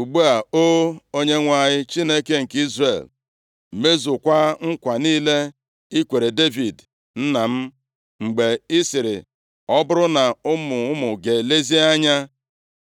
“Ugbu a, O! Onyenwe anyị, Chineke nke Izrel, mezukwaa nkwa niile i kwere Devid nna m, mgbe ị sịrị, ‘Ọ bụrụ na ụmụ ụmụ gị elezie anya